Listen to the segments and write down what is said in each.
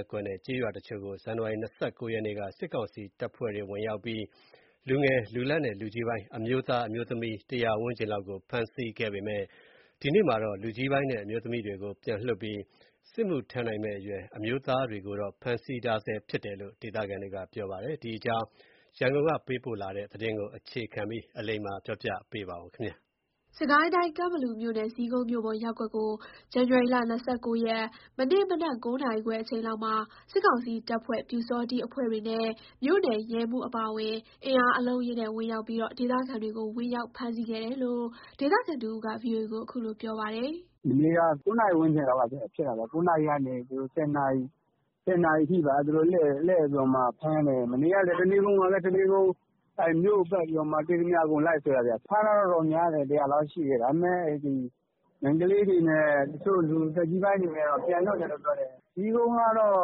ပ်ကွက်နဲ့ ကျေးရွာတချို့ကို ဇန်နဝါရီ ၂၉ ရက်က စစ်ကောင်စီတပ်ဖွဲ့တွေ ဝင်ရောက်ပြီး လူငယ်၊ လူလတ်နဲ့ လူကြီးပိုင်း အမျိုးသား၊ အမျိုးသမီး ၁၀၀ ဝန်းကျင်လောက်ကို ဖမ်းဆီးခဲ့ပေမယ့် ဒီကနေ့မှာတော့ လူကြီးပိုင်းနဲ့အမျိုးသမီးတွေကို ပြန်လွတ်ပြီး စစ်မှုထမ်းနိုင်မယ့်အရွယ် အမျိုးသားတွေကိုတော့ ဖမ်းဆီးထားဆဲဖြစ်တယ်လို့ ဒေသခံတွေက ပြောပါတယ်။ ဒီအကြောင်း ရန်ကုန်ကနေ သတင်းပေးပို့ထားပါတယ်။ ကန့်ဘလူမြို့နယ်၊ ဇီးကုန်းမြို့ပေါ်ရပ်ကွက်ကို ဇန်နဝါရီ ၂၉ ရက်၊ မနေ့မနက် ၉ နာရီခွဲအချိန်လောက်မှာ စစ်ကောင်စီတပ်ဖွဲ့၊ ပျူစောထီးအဖွဲ့တွေနဲ့ မြို့နယ်ရဲမှူးအပါအဝင် အင်အားအလုံးအရင်းနဲ့ ဝင်ရောက်ပြီး ဒေသခံတွေကို ဝင်ရောက်ဖမ်းဆီးခဲ့တယ်လို့ ဒေသခံတဦးက ဗွီအိုအေကို ခုလိုပြောပါတယ်။ “မနေ့က ၉ နာရီဝန်းကျင်လောက်က ဖြစ်တာပေါ့၊ ၉ နာရီ ၁၀ နာရီထိ လှည့်ပြီးတော့ဖမ်းတယ်။ မနေ့က တနေကုန်ပါပဲ။ မြို့ကို ပတ်ပြီးတော့ တွေ့သမျှလူ လိုက်ဆွဲတာဗျ။ ဖမ်းသွားတာကတော့ များတယ်။ ၁၀၀ လောက်ရှိတယ်။ ဒါပေမယ့် မိန်းကလေးတွေနဲ့ သက်ကြီးပိုင်းတွေကတော့ ပြန်လွတ်တယ်။ ဇီးကုန်းကတော့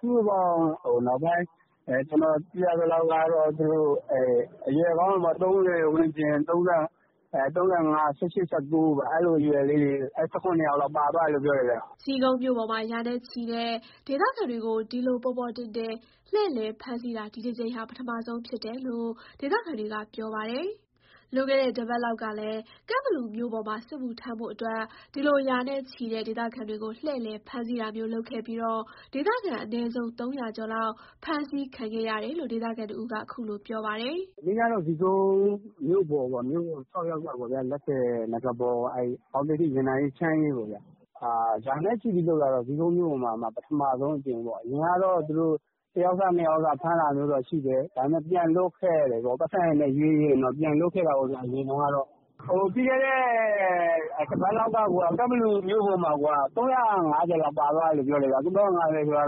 စုစုပေါင်း နောက်ပိုင်း ကျနော်သိရသလောက် အရွယ်ကောင်းတွေပေါ့ ၃၀ ဝန်းကျင်၊ ၃၅ ၊ ၁၈၊ ၁၉ အဲ့လို အရွယ်လေးတွေ ၁၇ ယောက်လောက် ပါသွားတယ်လို့ ပြောတယ်ဗျ။” ဇီးကုန်းမြို့ပေါ်မှာ ရာနဲ့ချီတဲ့ ဒေသခံတွေကို ဒီလို ပေါ်ပေါ်တင်တင် လှည့်လည်ဖမ်းဆီးတာ ဒီအကြိမ်ဟာ ပထမဆုံးဖြစ်တယ်လို့ ဒေသခံတွေက ပြောပါတယ်။ လွန်ခဲ့တဲ့တပတ်လောက်ကလည်း ကန့်ဘလူမြို့ ပေါ်မှာ စစ်မှုထမ်းအတွက် ဒီလို ရာနဲ့ချီတဲ့ ဒေသခံတွေကို လှည့်လည် ဖမ်ဆီးတာမျိုးလုပ်ခဲ့ပြီး ဒေသခံ အနည်းဆုံး ၃၀၀ ကျော် ဖမ်းဆီးခံခဲ့ရတယ်လို့ ဒေသခံ တဦးက ခုလိုပြောပါတယ်။ “မနေ့ကတော့ ဇီးကုန်း မြို့ပေါ် ၆ ရပ်ကွက်ပေါ့ဗျာ၊ လက်ဆည်၊ နဂါးပေါ်၊ အောင်သိဒ္ဓိ၊ ရေနံအေး၊ ချမ်းအေးပေါ့ဗျာ။ ရာနဲ့ချီပြီးလုပ်တာတော့ ဒါဇီးကုန်းမြို့ပေါ်မှာ ပထမဆုံးအကြိမ်ပေါ့။ အရင်တုန်းကတော့ သူတို့က တယောက်စ နှစ်ယောက်စ ဖမ်းတာမျိုးတော့ ရှိတယ်။ ဒါပေမယ့် ပြန်လွတ်ခဲ့တယ်ပေါ့။ ပိုက်ဆံနဲ့ ရွေးရင်တော့ ပြန်လွတ်ခဲ့တာပေါ့ဗျာ- အရင်တုန်းကတော့။ ပြီးခဲ့တဲ့ တပတ်လောက်က ကန့်ဘလူမြို့ပေါ်မှာက ၃၅၀ လောက် ပါသွားတယ်ဗျ။ ၃၅၀ ဆိုတာက နယ်က အ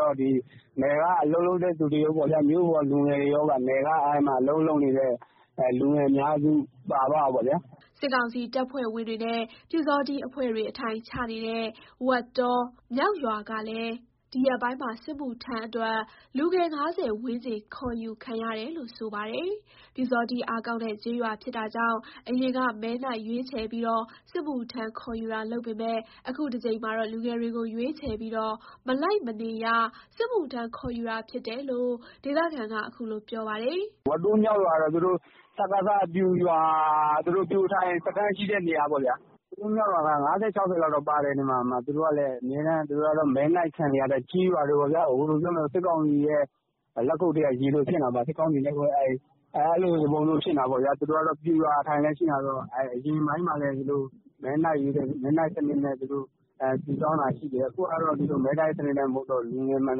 လုပ်လုပ်နေကြတဲ့သူရော၊ မြို့ပေါ်က လူငယ်တွေရော၊ အဓိက နယ်က အလုပ်လုပ်နေကြတဲသူတွေ အများစု ပါသွားတာပေါ့ဗျာ။” စစ်ကောင်စီတပ်ဖွဲ့ဝင်တွေနဲ့ ပျူစောထီးအဖွဲ့တွေ အထိုင်ချနေတဲ့ ဝက်တော မြောက်ရွာကလည်း ဒီရက်ပိုင်းမှာ စစ်မှုထမ်းအတွက် လူငယ် ၅၀ ဝန်းကျင် ခေါ်ယူခံရတယ်လို့ ဆိုပါတယ်။ ပျူစောထီး အားကောင်းတဲ့ကျေးရွာဖြစ်တာကြောင့် အရင်က မဲနှိုက်ရွေးချယ်ပြီး စစ်မှုထမ်းခေါ်ယူတာလုပ်ပေမယ့် အခုအကြိမ်မှာတော့ လူငယ်တွေကို ရွေးချယ်ပြီး မလိုက်မနေရ စစ်မှုထမ်း ခေါ်ယူတာဖြစ်တယ်လို့ ဒေသခံက အခုလို ပြောပါတယ်။ “ဝက်တောမြောက်ရွာက သူတို့ စကစ ပျူအထိုင်စခန်း ရှိတဲ့ ရွာပေါ့ဗျာ။ ဝက်တောမြောက်ရွာက ၅၀၊ ၆၀ လောက်တော့ ပါမယ်၊ သူတို့ကလည်း အမြဲတမ်း မဲနှိုက်ခံနေရတဲ့ ကျေးရွာတွေပေါ့ဗျာ။ သူတို့က စစ်ကောင်စီရဲ့ လက်ခုပ်ထဲက ရေလိုဖြစ်နေတာပေါ့ဗျာ၊ သူတို့က ပျူရွာအထိုင်လည်း ဖြစ်နေတာဆိုတော့ အရင်က သူတို့က မဲနှိုက်စံနစ်နဲ့ စုဆောင်းတာရှိတယ်။ အခုကတော့ သူတို့က မဲမနှိုက်တော့ဘူး၊ လူငယ်မှန်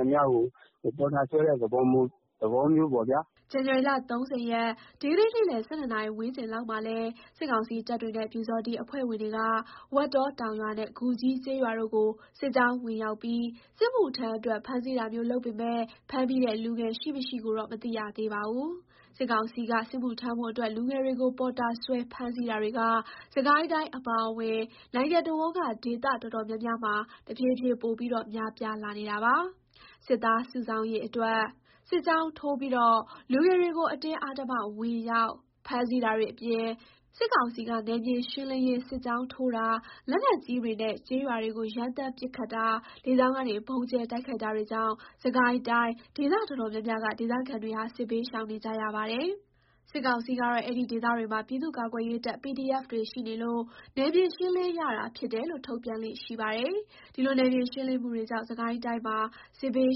သမျှကို ပေါ်တာဆွဲတဲ့ သဘောမျိုးပေါ့ဗျာ။” ဇန်နဝါရီ ၃၀ ရက် ဒီကနေ့ နေ့လယ် ၁၂ နာရီဝန်းကျင်လောက်မှာလဲ စစ်ကောင်စီတပ်တွေနဲ့ ပျူစောထီး အဖွဲ့ဝင်တွေက ဝက်တောတောင်ရွာနဲ့ ဂူကြီးကျေးရွာတို့ကို စစ်ကြောင်းဝင်ရောက်ပြီး စစ်မှုထမ် းအတွက် ဖမ်းဆီးတာမျိုး လုပ်ပေမယ့် ဖမ်းမိတဲ့ လူငယ် ရှိမရှိကိုတော့ မသိရသေးပါဘူး။ စစ်ကောင်စီက စစ်မှုထမ်းဖို့အတွက် လူငယ်တွေကို ပေါ်တာဆွဲ ဖမ်းဆီးတာတွေက စစ်ကိုင်းတိုင်း အပါအဝင် နိုင်ငံတစ်ဝန်းက ဒေသအတော်တော်များများမှာ တဖြည်းဖြည်း ပိုပြီး များပြားလာနေ ပါတယ်။ စစ်သားစုဆောင်းရေးအတွက် စစ်ကြောင်းထိုးပြီး လူငယ်တွေကို အဓမ္မ ဝင်ရောက်ဖမ်းဆီးတာတွေ အပြင် စစ်ကောင်စီက နယ်မြေရှင်းလင်းရေး စစ်ကြောင်းထိုးတာ၊ လက်နက်ကြီးတွေနဲ့ ကျေးရွာတွေကို ရမ်းသမ်း ပစ်ခတ်တာ၊ လေကြောင်းကနေ ဗုံးကြဲတိုက်ခိုက်တာတွေကြောင့် စစ်ကိုင်းတိုင်း ဒေသ အတော်များများက ဒေသခံတွေဟာ စစ်ဘေးရှောင်နေကြရပါတယ်။ စစ်ကောင်စီကတော့ အဲ့ဒီဒေသတွေမှာ ပြည်သူ့ကာကွယ်ရေးတပ် PDF တွေရှိနေလို့ နယ်မြေ ရှင်းလင်းရတာဖြစ်တယ်လို့ ထုတ်ပြန်လေ့ရှိပါတယ်။ ဒီလို နယ်မြေရှင်းလင်းမှုတွေကြောင့် စစ်ကိုင်းတိုင်းမှာ စစ်ဘေး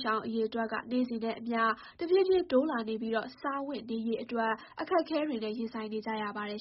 ရှောင်အရေအတွက်က နေ့စဉ်နဲ့အမျှ တဖြည်းဖြည်း တိုးလာနေပြီး စားဝတ်နေရးအတွက် အခက်အခဲတွေနဲ့ ရင်ဆိုင်နေကြရပါတယ်